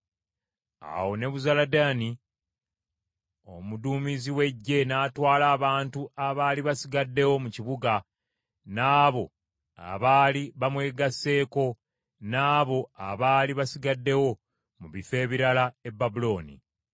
Awo Nebuzaladaani omuduumizi w’eggye n’atwala abantu abaali basigaddewo mu kibuga, n’abo abaali bamwegasseeko, n’abo abaali basigaddewo mu bifo ebirala, e Babulooni.